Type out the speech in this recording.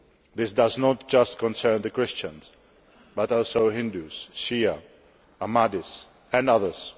this does not just concern Christians but also Hindus, Shias, Ahmadis and others.